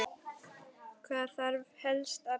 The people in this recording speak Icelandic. Hvað þarf helst að bæta?